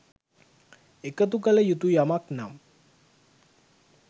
එකතු කළ යුතු යමක් නම්